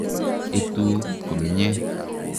Etu komnye.